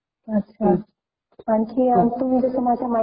आमच्याकडे रामटेक म्हणून खूप प्रसिद्ध स्थान आहे .